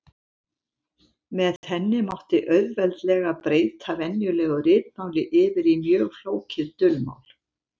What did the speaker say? Með henni mátti auðveldlega breyta venjulegu ritmáli yfir á mjög flókið dulmál.